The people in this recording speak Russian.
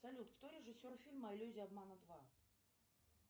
салют кто режиссер фильма иллюзия обмана два